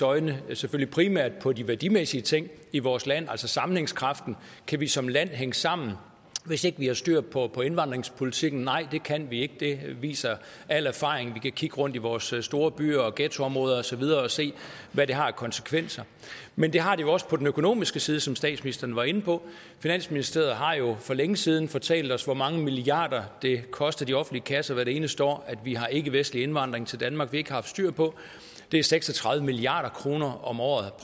øjne selvfølgelig primært for de værdimæssige ting i vores land altså sammenhængskraften kan vi som land hænge sammen hvis ikke vi har styr på indvandringspolitikken nej det kan vi ikke det viser al erfaring vi kan kigge rundt i vores storbyer og ghettoområder og så videre og se hvad det har af konsekvenser men det har det jo også på den økonomiske side som statsministeren var inde på finansministeriet har jo for længe siden fortalt os hvor mange milliarder det koster de offentlige kasser hvert eneste år at vi har ikkevestlig indvandring til danmark vi ikke har styr på det er seks og tredive milliard kroner om året